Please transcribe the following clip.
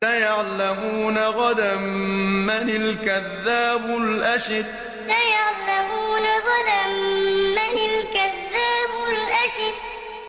سَيَعْلَمُونَ غَدًا مَّنِ الْكَذَّابُ الْأَشِرُ سَيَعْلَمُونَ غَدًا مَّنِ الْكَذَّابُ الْأَشِرُ